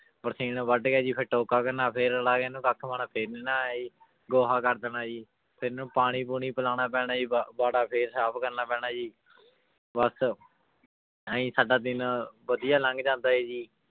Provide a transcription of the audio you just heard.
ਬਰਸੀਨ ਵੱਢ ਕੇ ਜੀ ਫਿਰ ਟੋਕਾ ਕਰਨਾ ਫਿਰ ਰਲਾ ਕੇ ਇਹਨੂੰ ਕੱਖ ਪਾਉਣਾ ਫਿਰ ਗੋਹਾ ਕਰ ਦੇਣਾ ਜੀ ਫਿਰ ਇਹਨੂੰ ਪਾਣੀ ਪੂਣੀ ਪਿਲਾਉਣਾ ਪੈਣਾ ਜੀ ਵਾ ਵਾੜਾ ਫਿਰ ਸਾਫ਼ ਕਰਨਾ ਪੈਣਾ ਜੀ ਬਸ ਇਉਂ ਹੀ ਸਾਡਾ ਦਿਨ ਵਧੀਆ ਲੰਘ ਜਾਂਦਾ ਹੈ ਜੀ